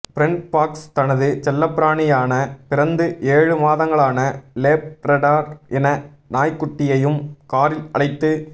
friend Parks தனது செல்லப்பிராணியான பிறந்து ஏழு மாதங்களான லேப்ரடார் இன நாய்க்குட்டியையும் காரில் அழைத்து